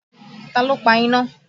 Ta ló pa iná?